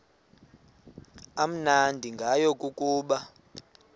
amnandi ngayo kukuba